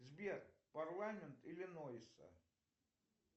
сбер парламент иллинойса